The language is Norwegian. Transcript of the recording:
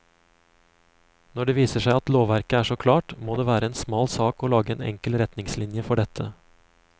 Når det viser seg at lovverket er så klart, må det være en smal sak å lage en enkel retningslinje for dette.